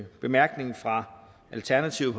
bemærkningen fra alternativet